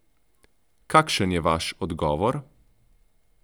Kakšen je vaš odgovor?